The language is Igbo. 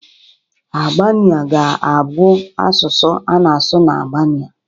Albania ga-abụ asụsụ a na-asụ na Albania